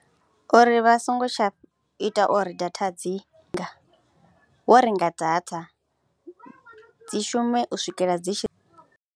Uri vha songo tsha ita uri data dzi nga, wo renga data dzi shume u swikela dzi tshi .